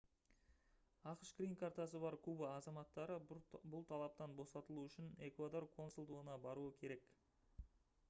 ақш грин-картасы бар куба азаматтары бұл талаптан босатылуы үшін эквадор консулдығына баруы керек